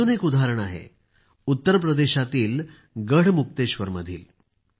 अजून एक उदाहरण आहे उत्तरप्रदेशातील गढमुक्तेश्वर मधील